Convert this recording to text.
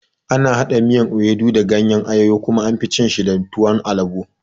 Ana haɗa miyar ewedu da gayen ayoyo kuma anfi cin shi da tuwon alabo